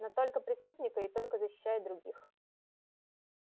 но только преступника и только защищая других